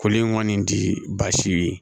Koli in kɔni ti basi ye